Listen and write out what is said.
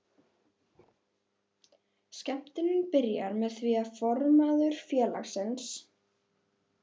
Skemmtunin byrjaði með því að formaður félagsins